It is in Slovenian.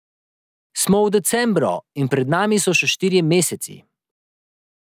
Smo v decembru in pred nami so še štirje meseci.